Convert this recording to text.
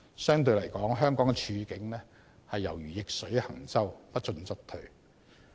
相對來說，香港的處境猶如逆水行舟，不進則退。